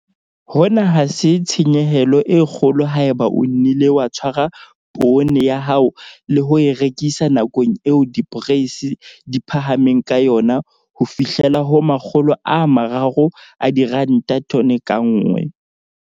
Hona ha se tshenyehelo e kgolo haeba o nnile wa tshwara poone ya hao le ho e rekisa nakong eo diporeisi di phahameng ka yona ho fihlela ho R300 tone ka nngwe.